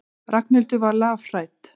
Ragnhildur var lafhrædd.